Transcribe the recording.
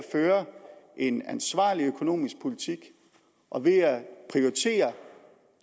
føre en ansvarlig økonomisk politik og ved at prioritere